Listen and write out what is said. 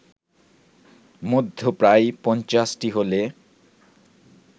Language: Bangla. মধ্যে প্রায় পঞ্চাশটি হলে